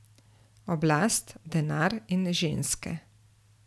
Oblast, denar in ženske.